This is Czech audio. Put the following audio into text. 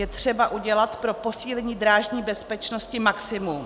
Je třeba udělat pro posílení drážní bezpečnosti maximum.